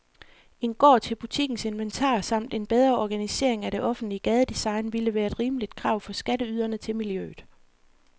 En gård til butikkens inventar samt en bedre organisering af det offentlige gadedesign ville være et rimeligt krav fra skatteyderne til miljøet.